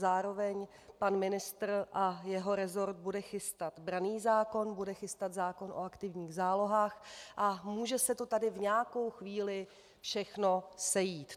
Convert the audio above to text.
Zároveň pan ministr a jeho resort bude chystat branný zákon, bude chystat zákon o aktivních zálohách a může se to tady v nějakou chvíli všechno sejít.